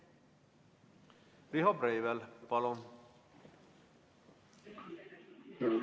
Riho Breivel, palun!